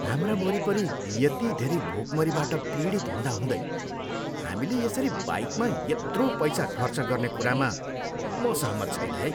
हाम्रा वरिपरि यति धेरै भोकमरीबाट पीडित हुँदा हुँदै हामीले यसरी बाइकमा यत्रो पैसा खर्च गर्ने कुरामा म सहमत छैन है।